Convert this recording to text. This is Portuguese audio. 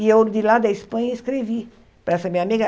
E eu, de lá da Espanha, escrevi para essa minha amiga.